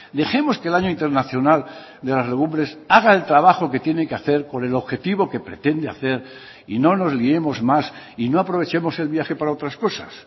dejemos que el año internacional de las legumbres haga el trabajo que tiene que hacer con el objetivo que pretende hacer y no nos liemos más y no aprovechemos el viaje para otras cosas